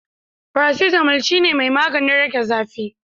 faracetamol shine mai maganin rage zafi.